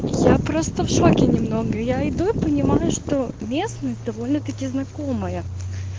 я просто в шоке немного я иду и понимаю что местность довольно-таки знакомая